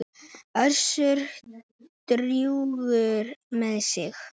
Össur drjúgur með sig.